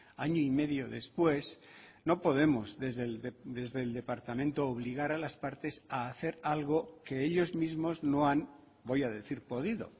año y medio después no podemos desde el departamento obligar a las partes a hacer algo que ellos mismos no han voy a decir podido